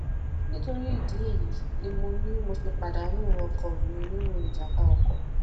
nítorí ìdí èyí ni mo ni mo ṣe pàdánù ọkọ mi nínú ìjàmbá ọkọ